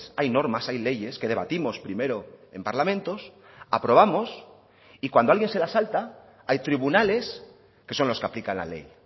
hay normas hay leyes que debatimos primero en parlamentos aprobamos y cuando alguien se la salta hay tribunales que son los que aplican la ley